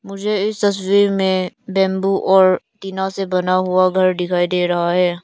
मुझे इस तस्वीर मैं बंबू और टीना से बना हुआ घर दिखाई दे रहा है।